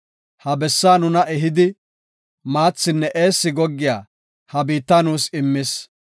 Ha bessaa nuna ehidi, maathinne eessi goggiya ha biitta nuus immis.